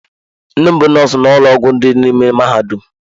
Nne m bụ nọọsụ na ụlọ ọgwụ dị n'ime mahadum.